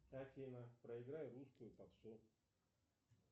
афина проиграй русскую попсу